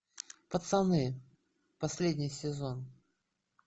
пацаны последний сезон